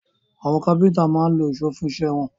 Àwọn kápẹ́ńtà máa ń lo ìṣó fún iṣẹ́ wọn.